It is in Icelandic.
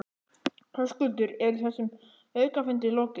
Höskuldur, er þessum aukafundi lokið?